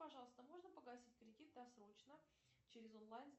пожалуйста можно погасить кредит досрочно через онлайн